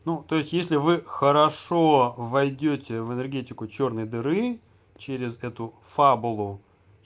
ну то есть если вы хорошо войдёте в энергетику чёрной дыры через эту фабулу